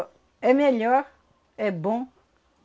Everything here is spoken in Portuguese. Ô, é melhor, é bom.